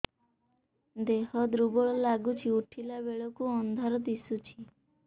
ଦେହ ଦୁର୍ବଳ ଲାଗୁଛି ଉଠିଲା ବେଳକୁ ଅନ୍ଧାର ଦିଶୁଚି